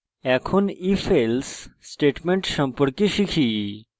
এখন ifelse statement সম্পর্কে শিখব